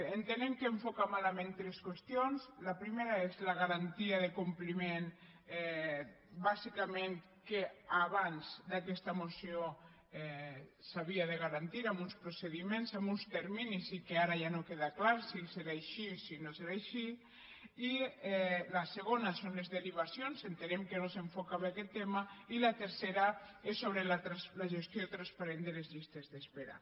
entenem que enfoca malament tres qüestions la primera és la garantia de compliment bàsicament que abans d’aquesta moció s’havia de garantir amb uns procediments amb uns terminis i que ara ja no queda clar si serà així o no serà així la segona són les derivacions entenem que no s’enfoca bé aquest tema i la tercera és sobre la gestió transparent de les llistes d’espera